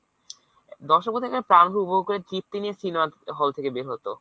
দর্শক কীর্তি নিয়ে cinema hall থেকে বের হত।